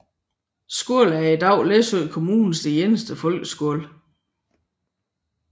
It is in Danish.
Skolen er i dag Læsø Kommunes eneste folkeskole